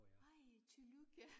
Ej tillykke